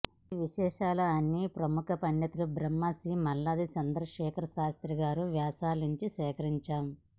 ఈ విశేషాలు అన్ని ప్రముఖ పండితులు బ్రహ్మశ్రీ మల్లాది చంద్ర శేఖర శాస్త్రిగారి వ్యాసాల నుంచి సేకరించాం